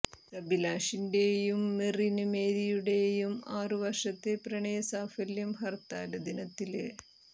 സബിലാഷിന്റെയും മെറിന് മേരിയുടെയും ആറു വര്ഷത്തെ പ്രണയ സാഫല്യം ഹര്ത്താല് ദിനത്തില്